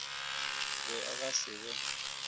be a ka se be